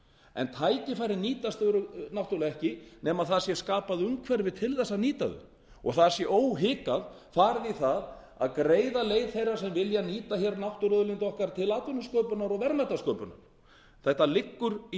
en tækifærin nýtast náttúrlega ekki nema það sé skapað umhverfi til að nýta þau og það sé óhikað farið í það að greiða leið þeirra sem vilja nýta náttúruauðlindir okkar til atvinnusköpunar og verðmætasköpunar þetta liggur í